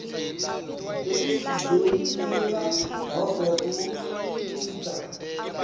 sekuchibiyela nobe kucisha